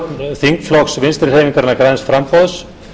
þingflokks vinstri hreyfingarinnar græns framboðs